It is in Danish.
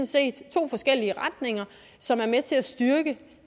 set to forskellige retninger som er med til at styrke